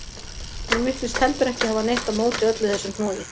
Hún virtist heldur ekki hafa neitt á móti öllu þessu hnoði.